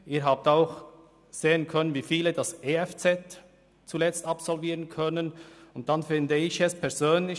Sie konnten auch sehen, wie viele am Schluss ein EFZ erwerben.